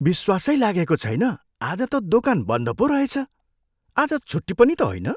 विश्वासै लागेको छैन आज त दोकान बन्द पो रहेछ! आज छुट्टी पनि त होइन।